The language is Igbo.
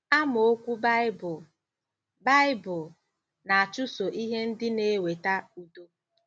Amaokwu Baịbụl: Baịbụl: “ Na-achụso ihe ndị na-eweta udo.”